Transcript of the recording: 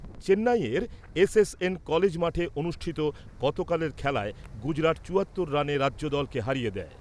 চেন্নাইয়ের SSN college মাঠে অনুষ্ঠিত গতকালের খেলায় গুজরাট চুয়াত্তর রানে রাজ্যদলকে হারিয়ে দেয়।